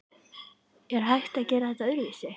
Er hægt að gera þetta öðruvísi?